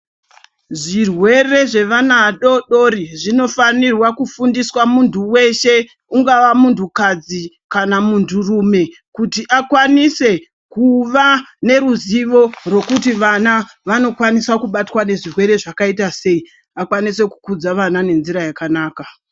Zvirwere zvevana adodori zvinofanirwa kufundiswa muntu weshe ungava muntu kadzi kana muntu rume kuti akwanise kuva neruzivo rokuti vana vanokwanisa kubatwa nezvirwere zvakaita sei akwanise kukudza vana nenzira yakanaka.